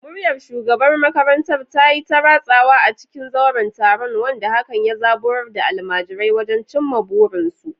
Muryar shugaban makarantar ta yi ta ratsawa a cikin zauren taron, wanda hakan ya zaburar da almajirai wajen cimma burinsu.